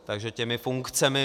Takže těmi funkcemi...